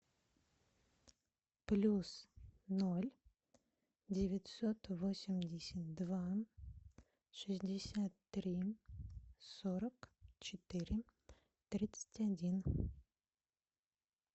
плюс ноль девятьсот восемьдесят два шестьдесят три сорок четыре тридцать один